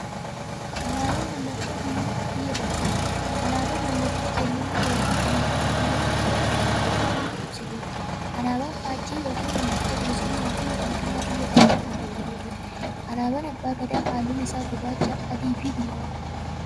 Alaaban mallattoo biyyuummaa biyya tokkooti. Alaabaan mallattoo eenyummaa yookiin birmaadummaa biyya tokkoo kan bakka buutuuf ibsituudha. Alaaban faajjii yookiin maallattoo bilisuummaafi birmaadummaa biyya tokkoo kan bakka buutuudha. Alaabaan abbaa gadaa haalluun isaa gurraacha, adiifi diimaadha.